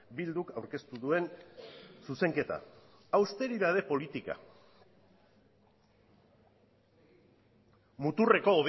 bilduk aurkeztu duen zuzenketa austeritate politika muturreko